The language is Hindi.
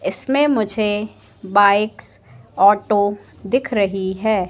इसमें मुझे बाइक्स ऑटो दिख रही है।